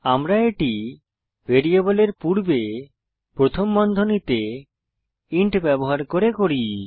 আমরা এটি ভ্যারিয়েবলের পূর্বে প্রথম বন্ধনীতে ইন্ট ব্যবহার করে করি